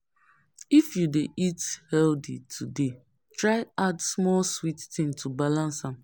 If you dey eat healthy today, try add small sweet thing to balance am.